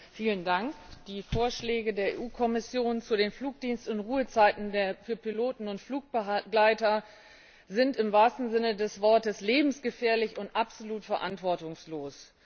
Herr Präsident! Die Vorschläge der EU Kommission zu den Flugdienst und Ruhezeiten für Piloten und Flugbegleiter sind im wahrsten Sinne des Wortes lebensgefährlich und absolut verantwortungslos.